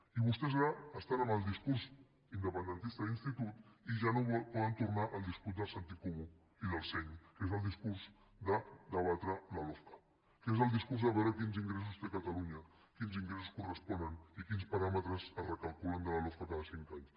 i vostès ara estan amb el discurs independentista d’institut i ja no poden tornar al discurs del sentit comú i del seny que és el discurs de debatre la lofca que és el discurs de veure quins ingressos té catalunya quins ingressos corresponen i quins paràmetres es recalculen de la lofca cada cinc anys